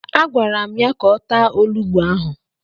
Agwara m ya ka ọ taa olugbu ahụ!